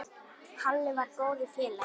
Halli var góður félagi.